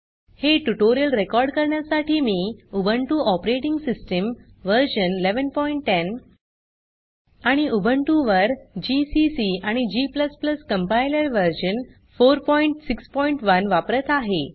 हे tutorial record करण्यासाठी मी उबुंटु ऑपरेटिंग सिस्टम वर्जन 1110 आणि उबुंटु वर जीसीसी आणि g कंपाइलर वर्जन 461 वापरत आहे